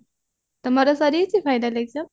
ତମର ସରିଯାଇଚି final exam